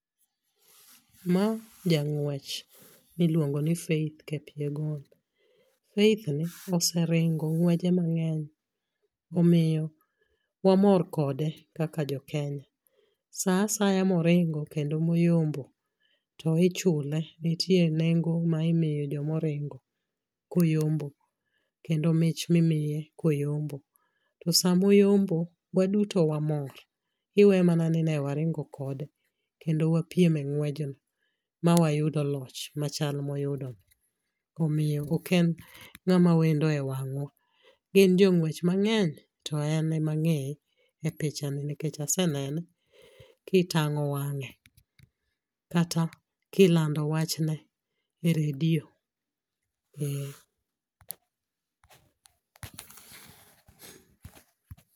Ma jang'wech miluongo ni Faith Kipyegon. Faith ni oseringo ng'weje mang'eny omiyo wamor kode kaka jokenya. Sa asaya moringo kendo moyombo to ichule, nitie nengo ma imiyo jomoringo koyombo kendo mich mimiye koyombo. To samoyombo waduto wamor iwe mana ni ne waringo kode kendo wapiem e ng'wejno mawayudo loch machal moyudono, omiyo oken ng'ama wendo e wang'wa. Gin jong'wech mang'eny to en ema ang'eye e pichani nikech asenene kitang'o wang'e kata kilando wachne e redio eh.